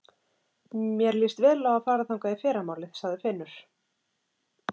Mér líst vel á að fara þangað í fyrramálið, sagði Finnur.